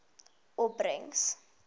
opbrengs